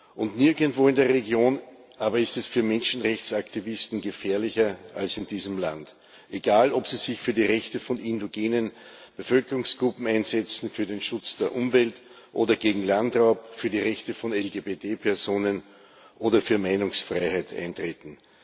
Aber nirgendwo in der Region ist es für Menschenrechtsaktivisten gefährlicher als in diesem Land egal, ob sie sich für die Rechte von indogenen Bevölkerungsgruppen einsetzen, für den Schutz der Umwelt oder gegen Landraub, für die Rechte von LGBT Personen oder für Meinungsfreiheit eintreten.